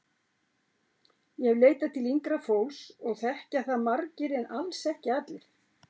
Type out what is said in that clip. Ég hef leitað til yngra fólks og þekkja það margir en alls ekki allir.